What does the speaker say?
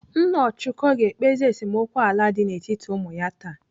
Nna Ọchụko ga-ekpezi esemokwu ala dị n'etiti ụmụ ya taa.